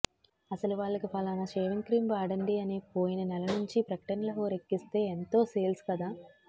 అసలు వాళ్ళకి ఫలాన షేవింగ్ క్రీం వాడండి అని పోయిన నెల నుంచి ప్రకటనల హోరెక్కిస్తే యెంతో సేల్స్ కదా